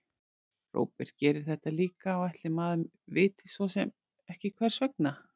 Róbert gerir þetta líka og ætli maður viti svo sem ekki hvers vegna.